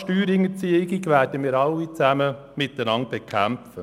Steuerhinterziehung werden wir alle zusammen miteinander bekämpfen.